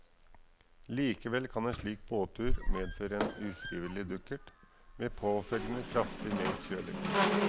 Likevel kan en slik båttur medføre en ufrivillig dukkert, med påfølgende kraftig nedkjøling.